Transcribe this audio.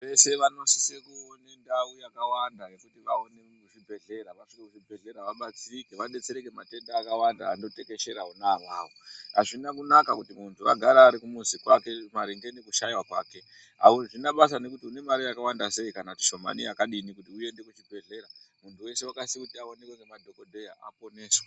....vese vanosise kuone ndau yakawanda yekuti vaoneke kuchibhehlera, vasvike kuzvvibhehlera vabatsirike, vadetsereke matenda akawanda anotekeshera ona awawo. Hazvina kunaka kuti muntu agare kumuzi kwake maringe nekushaiwa kwake. Hazvina basa nekuti unemare yakawanda sei kana kuti shomane yakadini kuti uende kuchibhehlera. Muntu wese akasise kuti aonekwe nemadhogodheya, aponeswe.